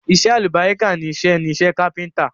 Iṣẹ́ alálùbáríkà ni iṣẹ́ ni iṣẹ́ kápẹ́ńtírì.